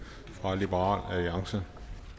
fra liberal alliance